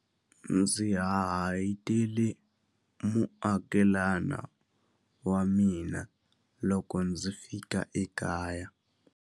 Ndzi hahayitele muakelana wa mina loko ndzi fika ekaya.